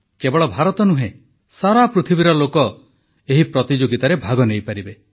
କେବଳ ଭାରତ ନୁହେଁ ସାରା ପୃଥିବୀର ଲୋକ ଏହି ପ୍ରତିଯୋଗିତାରେ ଭାଗ ନେଇପାରିବେ